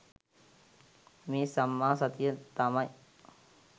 මේ සම්මා සතිය තමයි